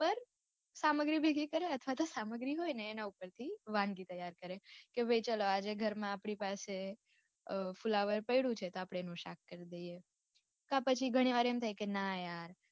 સામગ્રીઓ ભેગી કરે અથવા તો સામગ્રી હોય ને એના ઉપરથી વાનગી ત્યાર કરે કે ભાઈ ચાલો આજે ઘર માં આપડી પાસે અ ફુલાવર પડું છે તો આપડે એનું શાક કરી દઈએ. કા પછી ઘણીવાર એમ થાય કે ના યાર